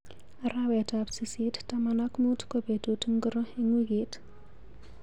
Arawetap sisit taman ak muut ko betut ngiro eng wiikit